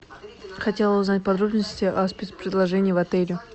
хотела узнать подробности о спец предложении в отеле